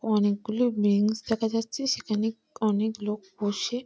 অনেকগুলো বেঞ্চ দেখা যাচ্ছে সেখানে অনেক লোক বসে--